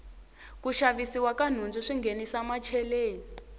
ku xavisiwa ka nhundzu swi nghenisa macheleni